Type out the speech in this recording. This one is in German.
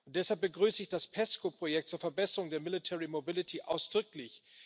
Deshalb begrüße ich das PESCO Projekt zur Verbesserung der Military Mobility ausdrücklich.